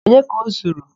Onye ka o zuru?